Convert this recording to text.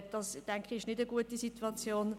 Das ist, denke ich, keine gute Situation.